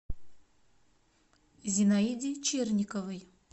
зинаиде черниковой